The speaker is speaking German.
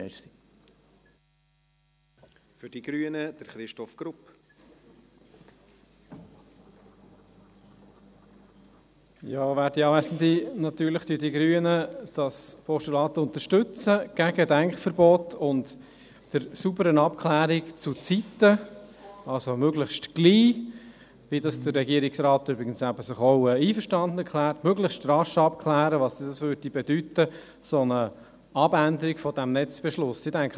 Natürlich unterstützen die Grünen das Postulat gegen Denkverbote und für saubere Abklärungen zurzeit, also möglichst bald, womit sich der Regierungsrat übrigens auch einverstanden erklärt, nämlich möglichst rasch abzuklären, was eine solche Änderung eines Netzbeschlusses bedeuten würde.